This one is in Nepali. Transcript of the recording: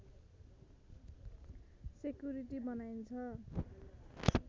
सेकुरिटी बनाइन्छ